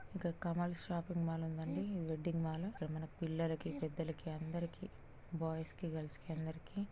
ఇక్కడ కమాల్స్ shopping mall ఉండండి వెడ్డింగ్ మాల్ ఇక్కడ మన పిల్లలకి పెద్ధలకి అందరికి బాయ్స్ కి గర్ల్స్ కి అందరికి --